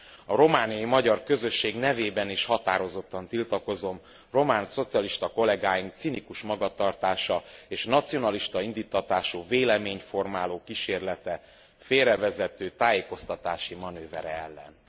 A romániai magyar közösség nevében is határozottan tiltakozom román szocialista kollegáink cinikus magatartása és nacionalista indíttatású véleményt formáló kísérlete, félrevezető tájékoztatási manővere ellen.